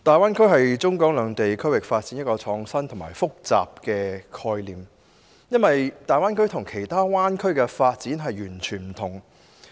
大灣區是中港兩地區域發展的一個創新而複雜的概念，因為它與世界其他灣區的發展全然不同。